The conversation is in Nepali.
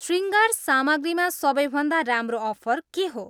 शृङ्गार सामग्रीमा सबैभन्दा राम्रो अफर के हो